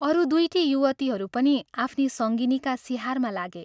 अरू दुइटी युवतीहरू पनि आफ्नी संगिनीका सिहारमा लागे।